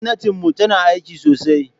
Gwamnatinmu tana aiki sosai.